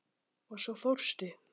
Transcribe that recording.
Og svo fórstu.